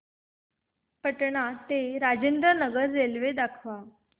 पटणा ते राजेंद्र नगर रेल्वे दाखवा